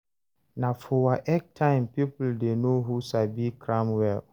Na for WAEC time people dey know who sabi cram well.